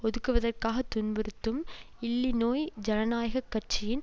ஒதுக்குவதற்காக துன்புறுத்தும் இல்லிநோய் ஜனநாயக கட்சியின்